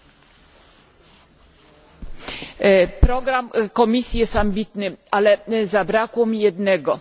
Panie Przewodniczący! Program Komisji jest ambitny, ale zabrakło mi jednego